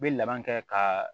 N bɛ laban kɛ ka